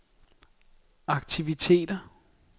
aktiviteter